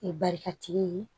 E barika tigi ye